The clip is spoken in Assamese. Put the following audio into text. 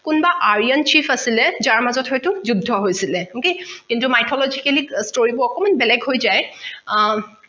কোনোবা aryan chief আছিলে যাৰ মাজত হৈতো যুদ্ধ হৈছিলে কিন্তু mythologically অ story বোৰ অকমাণ বেলেগ হৈ যায় আ